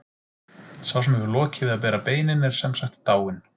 Sá sem hefur lokið við að bera beinin er sem sagt dáinn.